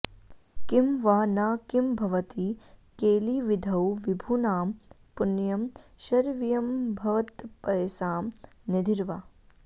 किं वा न किं भवति केलिविधौ विभूनां पुण्यं शरव्यमभवत्पयसां निधिर्वा